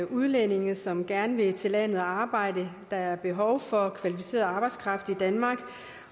udlændinge som gerne vil til landet og arbejde der er behov for kvalificeret arbejdskraft i danmark